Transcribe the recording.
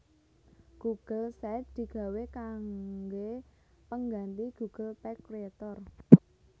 Google Sites digawé kanggé pengganthi Google Page Creator